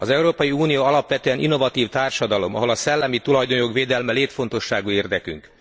Az Európai Unió alapvetően innovatív társadalom, ahol a szellemi tulajdonjog védelme létfontosságú érdekünk.